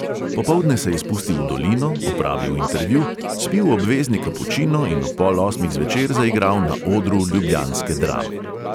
Popoldne se je spustil v dolino, opravil intervju, spil obvezni kapučino in ob pol osmih zvečer zaigral na odru ljubljanske drame.